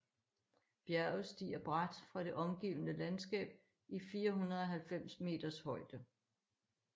Bjerget stiger brat fra det omgivende landskab i 490 meters højde